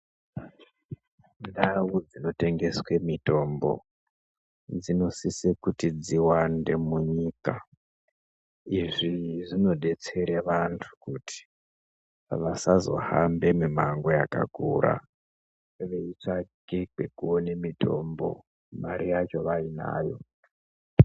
Ndau dzinotengeswe mitombo dzinosise kuti dziwande munyika. Izvi zvinodetsere vantu kuti vasazohambe mimango yakakura veitsvage pekuone mitombo mari yacho vainayo.